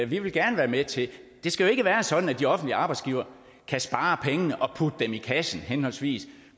vil vi gerne være med til det skal jo ikke være sådan at de offentlige arbejdsgivere kan spare pengene og putte dem i kassen henholdsvis